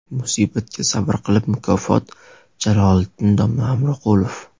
Musibatga sabr qilib – mukofot – Jaloliddin domla Hamroqulov.